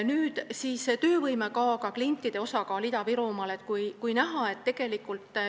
Nüüd räägin töövõimekaoga klientide osakaalust Ida-Virumaal.